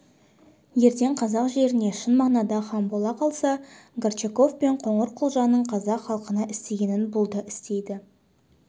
ертең қазақ жеріне шын мағынада хан бола қалса горчаков пен қоңырқұлжаның қазақ халқына істегенін бұл да істейді